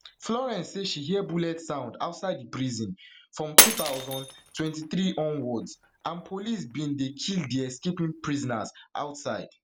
florence say she hear bullets sound outside di prison from two thousand, three hundred onwards and police bin dey kill di escaping prisoners outside